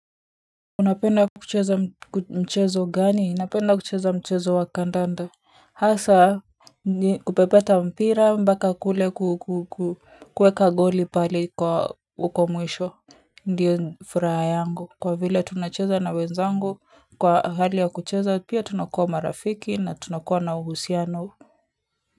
Unapenda kucheza mchezo gani? Ninapenda kucheza mchezo wa kandanda hasa kupepeta mpira mbaka kule kuweka goli pale kwahuko mwisho ndio furaha yangu kwa vile tunacheza na wenzangu kwa hali ya kucheza pia tunakuwa marafiki na tunakuwa na uhusiano kwa hivyo.